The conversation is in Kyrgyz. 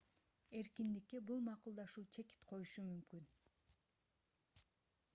эркиндикке бул макулдашуу чекит коюшу мүмкүн